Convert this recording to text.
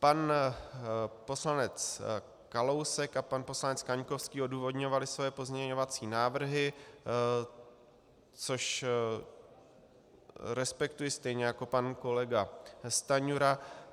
Pan poslanec Kalousek a pan poslanec Kaňkovský odůvodňovali svoje pozměňovací návrhy, což respektuji, stejně jako pan kolega Stanjura.